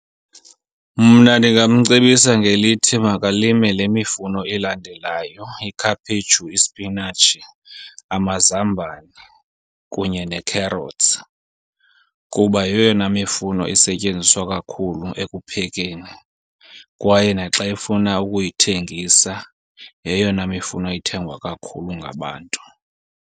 Mna ndingamcebisa ngelithi makalime le mifuno elandelayo, ikhaphetshu, ispinatshi, amazambane kunye ne-carrots. Kuba yeyona mifuno isetyenziswa kakhulu ekuphekeni kwaye naxa efuna ukuyithengisa yeyona mifuno ithengwa kakhulu ngabantu.